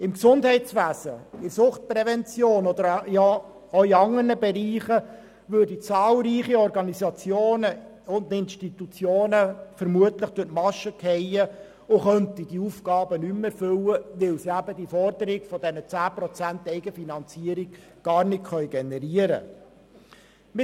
Im Gesundheitswesen, in der Suchtprävention und auch in anderen Bereichen würden zahlreiche Organisationen und Institutionen vermutlich durch die Maschen fallen und könnten ihre Aufgabe nicht mehr erfüllen, weil sie die geforderten 10 Prozent Eigenfinanzierung gar nicht generieren können.